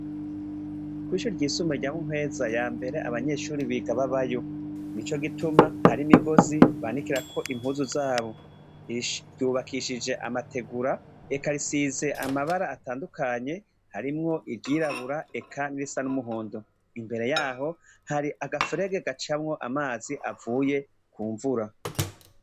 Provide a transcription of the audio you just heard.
Kwishuri ryisumbuye rya Muhweza yambere abanyeshure biga babayo. Nico gituma har’imigozi banikirako impuzu zabo. Ryubakishije amategura, eka risize amabara atandukanye harimwo iryirabura eka n’irisa n’umuhondo. Imbere yaho hari agaferegi gacamwo amazi avuye kumvura.